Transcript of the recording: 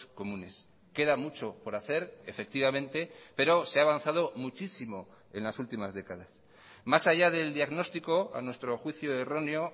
comunes queda mucho por hacer efectivamente pero se ha avanzado muchísimo en las últimas décadas más allá del diagnóstico a nuestro juicio erróneo